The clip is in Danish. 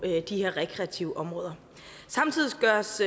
de her rekreative områder samtidig gøres